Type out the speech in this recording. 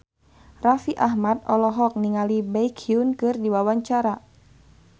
Raffi Ahmad olohok ningali Baekhyun keur diwawancara